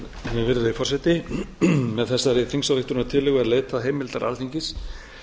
virðulegi forseti með þessari þingsályktunartillögu er leitað heimildar alþingis